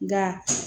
Nga